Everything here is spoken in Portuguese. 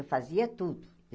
Eu fazia tudo.